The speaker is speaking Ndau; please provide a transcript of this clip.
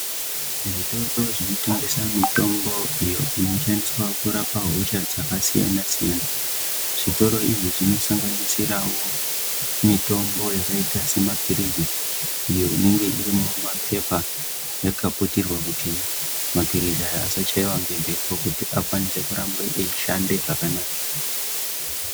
Zvitoro zvinotengesa mitombo iyo inoshandiswa kurape hosha dzakasiyanasiyana zvitoro izvi zvinosanganirirawo mitombo yakaita semapilizi ,iyo inenge iri mumapepa yakaputirwa kuti mapilzi aya asachaiwe ngemhepo kuti arambe eishande zvakanaka.